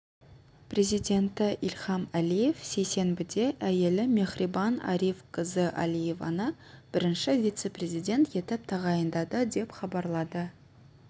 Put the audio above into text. президенті ильхам алиев сейсенбіде әйелі мехрибан ариф гызы алиеваны бірінші вице-президент етіп тағайындады деп хабарлады